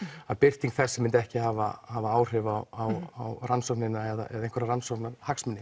að birting þess myndi ekki hafa hafa áhrif á á rannsóknina eða einhverja rannsóknarhagsmuni